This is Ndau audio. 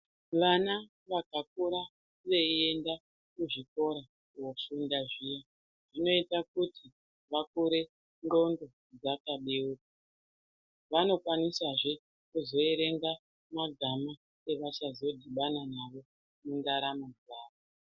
Vana vakakura veienda kuzvikora kofunda zviya zvinoita kuti vakure nxlondo dzakabeuka vanokwanisazve kuerenga magama achazodhibana nayo mundaramo dzawo.